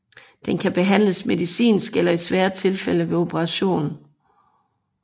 Den kan behandles medicinsk eller i svære tilfælde ved operation